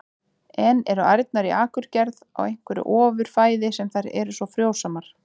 En eru ærnar í Akurgerð á einhverju ofur fæði sem gerir þær svona frjósamar?